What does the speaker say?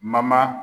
Mama